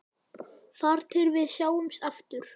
Þar til við sjáumst aftur.